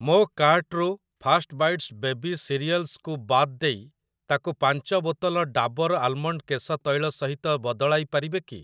ମୋ କାର୍ଟ୍‌ରୁ fast bites baby cereals କୁ ବାଦ ଦେଇ ତାକୁ ପାଞ୍ଚ ବୋତଲ ଡାବର୍ ଆଲମଣ୍ଡ୍ କେଶ ତୈଳ ସହିତ ବଦଳାଇ ପାରିବେ କି?